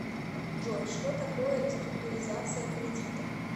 джой что такое реструктуризация кредита